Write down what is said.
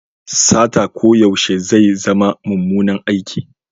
Sata koyaushe zai zama mummunan aiki.